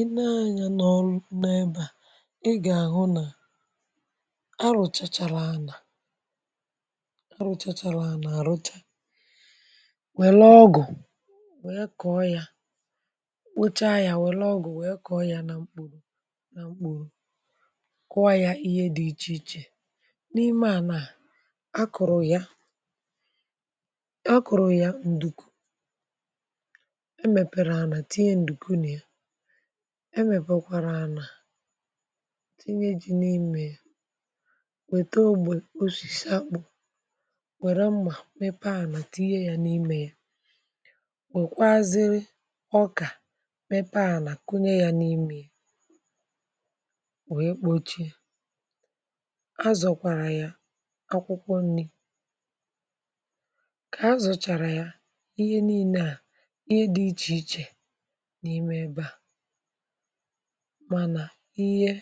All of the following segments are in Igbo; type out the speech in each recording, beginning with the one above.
i nee anyȧ n’ọrụ na-ebà ị gà-àhụ nà arụ̀chachala anà arụchachala anà-àrụcha wèlè ọgụ̀ wèe kọ̀ọ yȧ rucha yȧ wèlè ọgụ̀ wèe kọ̀ọ yȧ nà mkporo na mkporo kuọ yȧ ihe dị ichè ichè n’ime à nà a kụ̀rụ̀ ya a kụ̀rụ̀ ya ǹdùku emepere ana tinye nduku na ya emèpekwarà anà tinye ji n’imė ya wète ogbè osìsà akpụ̀ wèrè mmà mepe ànà tinye ya n’imė ya wèkwaa ziri ọkà mepe ànà kunye ya n’imė ya wee kpochie azọ̀kwàrà ya akwụkwọ nni kà azọ̀chàrà ya ihe niine à ihe dị ichè ichè n’ime ebe à mànà ihe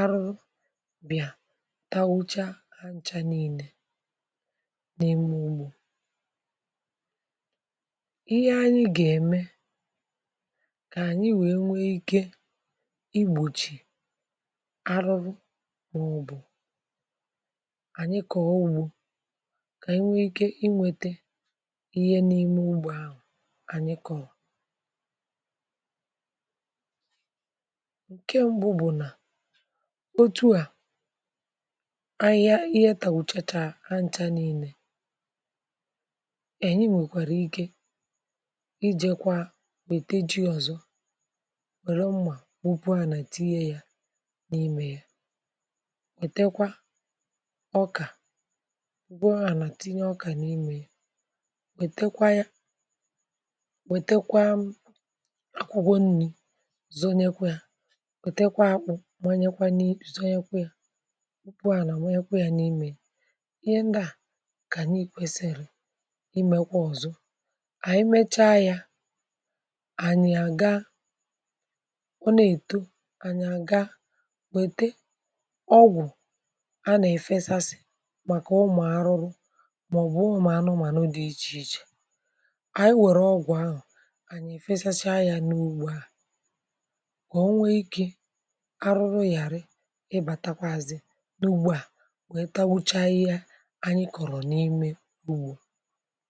arụrụ bị̀à tawụcha ha ncha niile n’ime ugbȯ. ihe anyị gà-ème kà ànyị wee nwee ike igbòchì arụrụ maobụ̀ ànyị kọ̀ọ̀ ugbȯ kà anyi nwee ike inwete ihe n’ime ugbȯ ahụ̀ ànyị kọ̀rọ̀ ǹke mbu bù nà otu à ahịa ihe tàùchachà ha ǹchà niilė, anyi nwèkwàrà ike ijekwa wète ji ọ̀zọ wère mmà wupu ànà tinye yȧ n’imė ya wètekwa ọkà wupu ànà tinye ọkà n’imė ya wètekwa ya wètekwa akwụkwọ nni zonyekwa yȧ wètekwa akpụ manyekwa zonyekwa yȧ kwepụ ànà m̀anyekwa yȧ n’imė ya ihe ndị à kà ànyị kwesiri̇ imekwa ọ̀zọ ànyị mecha yȧ ànyị àga ọ nà èto ànyị àga wète ọgwụ̀ a nà efesasị̀ màkà ụmụ̀ arụrụ màọ̀bụ̀ umu ȧnụmànụ dị̇ ichè ichè anyi were ọgwụ̀ ahu anyi efechachaa ya n'ugbo ahu kà o nwe ikė arụrụ yàrị ịbȧtakwazị n’ugbȯ à wee tagbuchaa ihe anyị kọ̀rọ̀ n’ime ugbo.